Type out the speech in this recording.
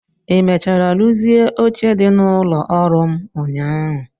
Ị mechara rụzie oche dị n'ụlọ ọrụ m ụnyaahụ?